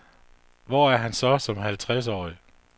Hvor er han så som halvtredsårig?